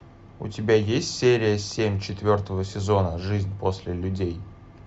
у тебя есть серия семь четвертого сезона жизнь после людей